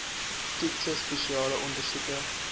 toetse spesiale ondersoeke